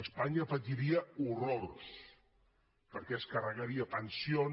espanya patiria horrors perquè es carregaria pensions